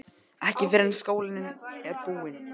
Ekki fyrr en skólinn er búinn